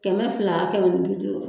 Kɛmɛ fila kɛmɛ ni bi duuru